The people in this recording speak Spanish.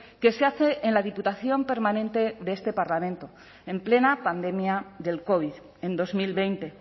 que se hace en la diputación permanente de este parlamento en plena pandemia del covid en dos mil veinte